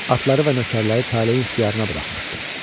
Atları və nökərləri taleyin ixtiyarına buraxmışdı.